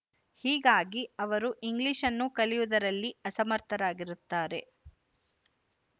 ಹೀಗಾಗಿ ಅವರು ಇಂಗ್ಲಿಶ್‌ನ್ನು ಕಲಿವುದರಲ್ಲಿ ಅಸಮರ್ಥರಾಗಿರುತ್ತಾರೆ